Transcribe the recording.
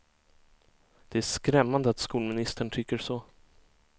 Det är skrämmande att skolministern tycker så.